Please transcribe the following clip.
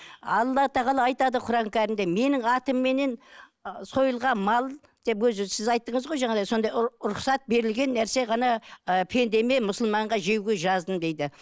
алла тағала айтады құран кәрімде менің атымменен сойылған мал деп өзі сіз айттыңыз ғой жаңағыдай сондай рұқсат берілген нәрсе ғана ы пендемен мұсылманға жеуге жаздым дейді